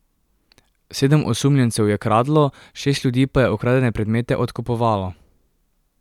Sedem osumljencev je kradlo, šest ljudi pa je ukradene predmete odkupovalo.